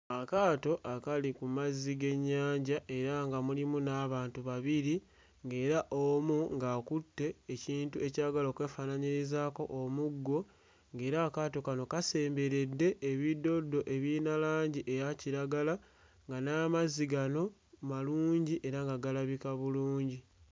Akaato akali ku mazzi g'ennyanja era nga mulimu n'abantu babiri ng'era omu ng'akutte ekintu ekyagala okwefaananyirizaako omuggo ng'era akaato kano kasemberedde ebiddoddo ebiyina langi eya kiragala nga n'amazzi gano malungi era nga galabika bulungi.